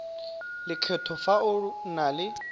lekgetho fa o na le